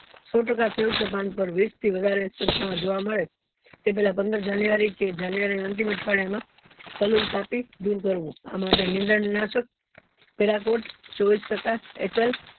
સો ટકા પણ પર વીસ થી વધારે જોવા માં મળે એ પેલા પંદર january કે january ના અંતિમ અઠવાડિયા માં કાપી દુર કરવું આ માટે નીંદન નાશક પેલાકોત ચોવીશ ટકા